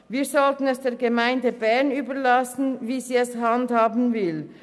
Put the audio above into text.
Wir sollten es der Gemeinde Bern überlassen, wie sie das handhaben will.